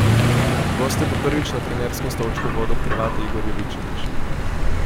Goste bo prvič na trenerskem stolčku vodil Hrvat Igor Jovičević.